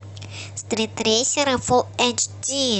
стритрейсеры фул эйч ди